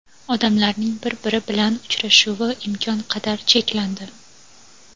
odamlarning bir-biri bilan uchrashuvi imkon qadar cheklandi.